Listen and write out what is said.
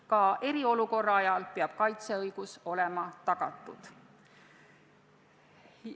Ka eriolukorra ajal peab kaitseõigus olema tagatud.